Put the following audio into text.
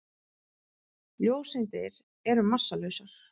Ljóseindir eru massalausar.